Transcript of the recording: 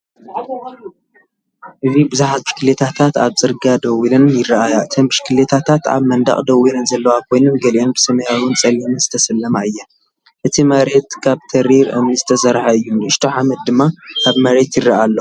እዚ ብዙሓት ብሽክለታታት ኣብ ጽርግያ ደው ኢለን ይረኣያ። እተን ብሽክለታታት ኣብ መንደቕ ደው ኢለን ዘለዋ ኮይነን ገሊአን ብሰማያውን ጸሊምን ዝተሰለማ እየን። እቲ መሬት ካብ ተሪር እምኒ ዝተሰርሐ እዩ፣ ንእሽቶ ሓመድ ድማ ኣብ መሬት ይረአ ኣሎ።